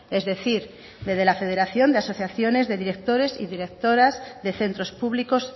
es decir de la federación de asociaciones de directores y directoras de centros públicos